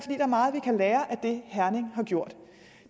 er meget vi kan lære af det herning har gjort